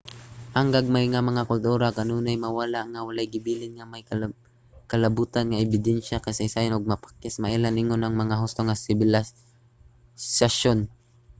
ang gagmay nga mga kultura kanunay mawala nga walay gibilin nga may kalabotan nga ebidensya sa kasaysayan ug mapakyas nga mailhan ingon mga husto nga sibilisasyon